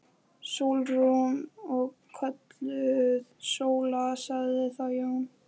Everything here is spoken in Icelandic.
Sólrún. og kölluð Sóla, sagði þá Jón.